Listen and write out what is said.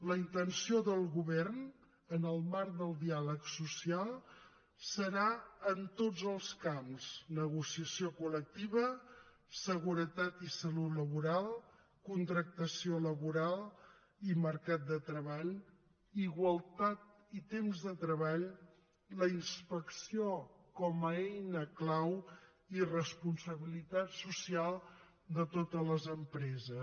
la intenció del govern en el marc del diàleg social serà en tots els camps negociació col·lectiva seguretat i salut laboral contractació laboral i mercat de treball igualtat i temps de treball la inspecció com a eina clau i responsabilitat social de totes les empreses